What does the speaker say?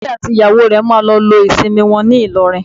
Kúnlé àti ìyàwó rẹ̀ máa lọ lo ìsinmi wọn ní Ìlọrin